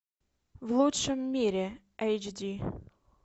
в лучшем мире эйч ди